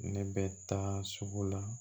Ne bɛ taa sugu la